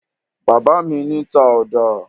Bàbá mi ní ta ọ̀dà.